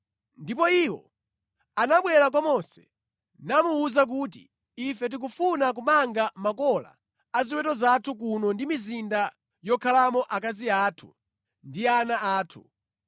Ndipo iwo anabwera kwa Mose namuwuza kuti, “Ife tikufuna kumanga makola a ziweto zathu kuno ndi mizinda yokhalamo akazi athu ndi ana athu.